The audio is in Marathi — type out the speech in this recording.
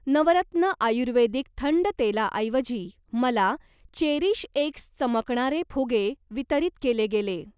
नवरत्न आयुर्वेदिक थंड तेलाऐवजी, मला चेरीशएक्स चमकणारे फुगे वितरित केले गेले.